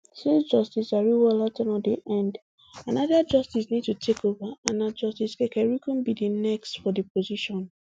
since justice ariwoola ten ure dey end anoda justice need to takeova and na justice kekereekun be di next for di position